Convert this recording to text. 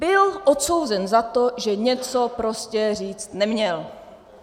Byl odsouzen za to, že něco prostě říct neměl.